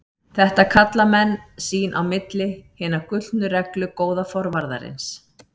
Þetta kalla menn sín á milli Hina gullnu reglu góða forvarðarins.